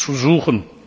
uns zu suchen.